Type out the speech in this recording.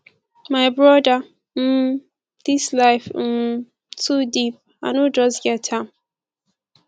my brother um dis life um too deep i no just get am